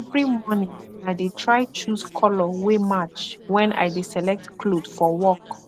evry morning i dey try choose kolor wey match wen i dey select kloth for work